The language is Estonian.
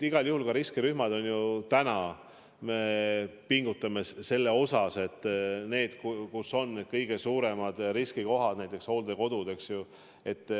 Igal juhul me ka täna pingutame selle nimel, et ohus poleks need kõige suuremad riskikohad, näiteks hooldekodud, eks ju.